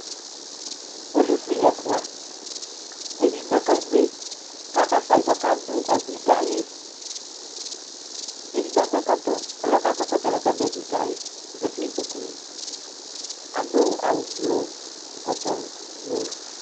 Polisi ɛfua, edigbo kebui k'abafa yi k'ɔka dʋ anyi kayi k'edigbo akɔ ɛkɔtɔƆlʋ yɛ akɔ ɛkɔtɔ yɛ laka dʋ anyi yɛ kayi Ozati n'ikpoku li, adʋ blʋ, ɛkɔtɔ blʋ